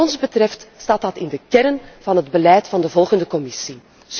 En wat ons betreft wordt dat opgenomen in de kern van het beleid van de volgende Commissie.